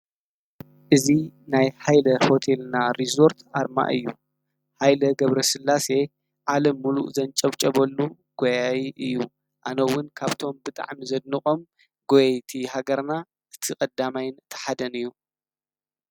እዚ ናይ ሃይለ ሆቴልና ሪዞርት አርማ እዩ፡፡ ሃይለ ገብረስላሴ ዓለም ሙሉእ ዘንጨብጨበሉ ጎያይ እዩ፡፡ አነ እውን ካብቶም ብጣዕሚ ዘድንቆም ጎየይቲ ሃገርና እቲ ቀዳማይን እቲ ሓደን እዩ፡፡